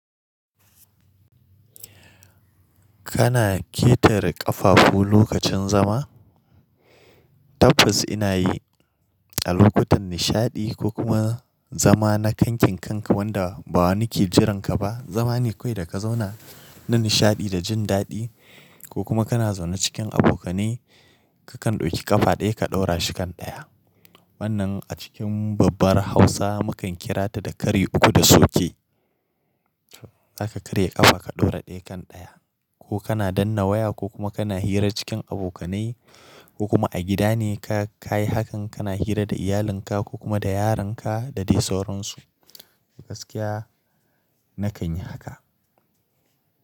Kana ƙetare ƙafafu lokacin zama? Tabbas ina yi a lokutan nishaɗi ko kuma zama na kankin kanka wanda ba wani ke jiran ka ba. Zama ne kawai da ka zauna na nishaɗi da jin daɗi ko kuma kana zaune cikin abokanai, ka kan ɗauki ƙafa ɗaya ka ɗaura shi kan ɗaya. Wannan a cikin babbar Hausa mu kan kira ta da "Kari uku da sauke". Zaka karya ƙafa ka ɗaura ɗaya kan ɗaya ko kana danna waya ko kuma kana hira cikin abokanai ko kuma a gida ne ka kayi hakan kana hira da iyalinka ko kuma da yaran ka da dai sauransu. Gaskiya nakan yi haka.